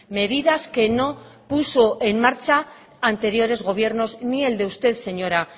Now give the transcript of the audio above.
medidas que no puso en marcha anteriores gobiernos ni el de usted señora